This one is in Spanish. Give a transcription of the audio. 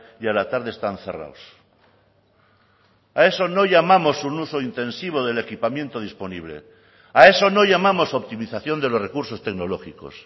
y a la tarde están cerrados a eso no llamamos un uso intensivo del equipamiento disponible a eso no llamamos optimización de los recursos tecnológicos